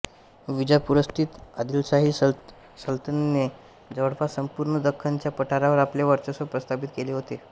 विजापूरस्थित आदिलशाही सलतनतीने जवळपास संपूर्ण दख्खनच्या पठारावर आपले वर्चस्व प्रस्थापित केले होते